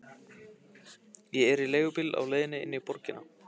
Ég er í leigubíl á leiðinni inn í borgina.